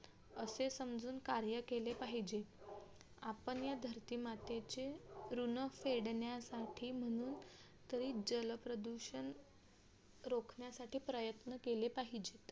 असे समजून कार्य केले पाहिजे आपण ह्या धरती मातेचे ऋण फेडण्यासाठी म्हणून तरी जलप्रदूषण रोखण्यासाठी प्रयत्न केले पाहिजे.